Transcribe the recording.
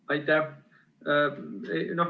Aitäh!